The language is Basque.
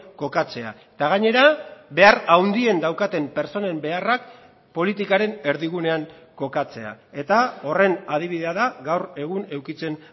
kokatzea eta gainera behar handien daukaten pertsonen beharrak politikaren erdigunean kokatzea eta horren adibidea da gaur egun edukitzen